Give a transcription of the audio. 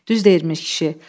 Düz deyirmiş kişi.